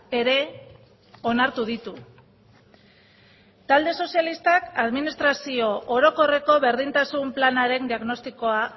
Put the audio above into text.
ere onartu ditu talde sozialistak administrazio orokorreko berdintasun planaren diagnostikoa